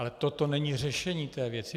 Ale toto není řešení této věci.